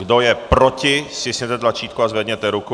Kdo je proti, stiskněte tlačítko a zvedněte ruku.